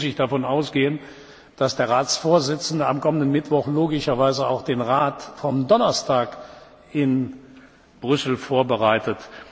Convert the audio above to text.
Im Übrigen muss ich davon ausgehen, dass der Ratsvorsitzende am kommenden Mittwoch logischerweise auch den Rat vom Donnerstag in Brüssel vorbereitet.